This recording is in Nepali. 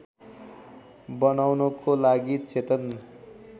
बनाउनको लागि चेतन